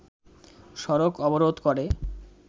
সড়ক অবরোধ করে